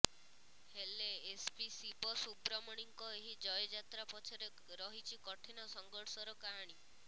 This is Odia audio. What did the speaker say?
ହେଲେ ଏସ୍ପି ଶିବ ସୁବ୍ରମଣିଙ୍କ ଏହି ଜୟଯାତ୍ରା ପଛରେ ରହିଛି କଠିନ ସଂଘର୍ଷର କାହାଣୀ